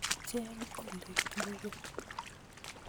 Cheg ole kirwe